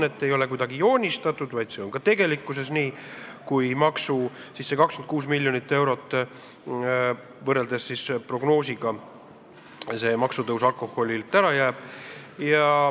See ei ole kuidagi vaid paberile joonistatud tasakaal, vaid see on ka tegelikkuses nii, kui see prognoosiga võrreldes 26 miljonit eurot, mis pidi tulema alkoholiaktsiisi tõstmisega, ära jääb.